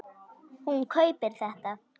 Hún kaupir þetta.